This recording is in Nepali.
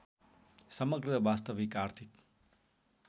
समग्र वास्तविक आर्थिक